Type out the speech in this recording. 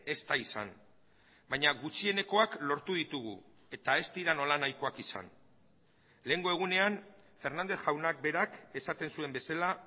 ez da izan baina gutxienekoak lortu ditugu eta ez dira nolanahikoak izan lehengo egunean fernández jaunak berak esaten zuen bezala